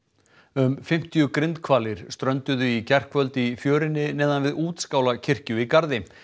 um fimmtíu grindhvalir strönduðu í gærkvöld í fjörunni neðan við Útskálakirkju í Garði